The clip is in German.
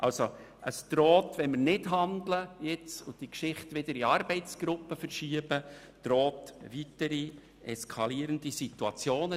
Wenn wir nicht handeln und die Geschichte wieder in Arbeitsgruppen verschieben, drohen weitere eskalierende Situationen.